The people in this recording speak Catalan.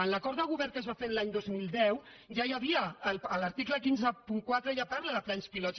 en l’acord de govern que es va fer l’any dos mil deu ja n’hi havia a l’article cent i cinquanta quatre ja parla de plans pilot